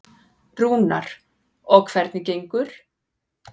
Rúnar: Og hvernig gengur?